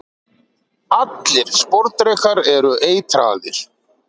allir sporðdrekar eru eitraðir